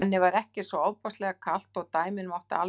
Henni var ekkert svo ofboðslega kalt og dæmin máttu alveg bíða.